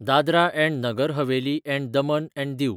Dadra and Nagar Haveli and Daman and दिऊ